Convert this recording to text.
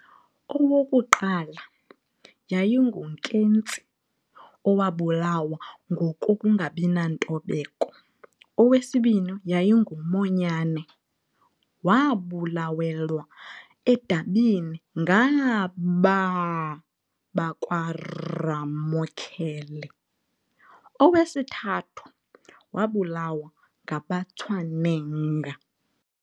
Owokuqala, yayinguNketsi owabulawa ngokungabinantobeko, owesibini yayinguMonyane, waabulawelwa edabini ngaabaa bakwaRamokhele, owesithathu wabulawa ngabaTshweneng.